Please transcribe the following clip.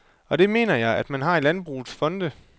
Og det mener jeg, at man har i landbrugets fonde.